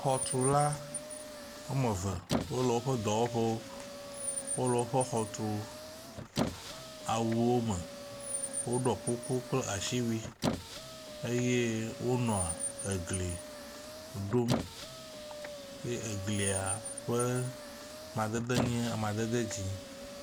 Xɔtula woame eve wole woƒe dɔwɔƒewo, wole woƒe xɔ tu awuwo me. Woɖɔ kuku kple asiwui eye wonɔa egli ɖom eye eglia ƒe amadede nye amadede dzɛ̃.